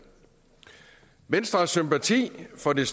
venstre har sympati for det